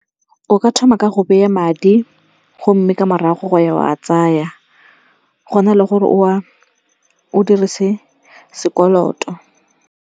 O ka thoma ka go beye madi gomme ka morago go ya o a tsaya. Go na le gore o dirise sekoloto.